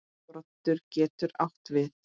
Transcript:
Broddur getur átt við